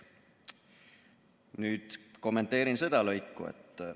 " Nüüd kommenteerin seda lõiku.